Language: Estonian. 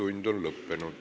Infotund on lõppenud.